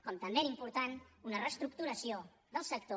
com també era important una reestructuració del sector